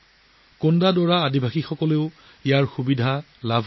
কোণ্ডা ড'ৰা জনজাতীয় সম্প্ৰদায়েও ইয়াৰ পৰা বহু লাভ অৰ্জন কৰিছে